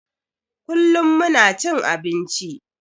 Kullum muna cin abinci